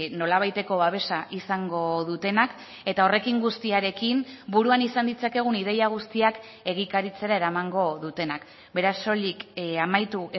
nolabaiteko babesa izango dutenak eta horrekin guztiarekin buruan izan ditzakegun ideia guztiak egikaritzera eramango dutenak beraz soilik amaitu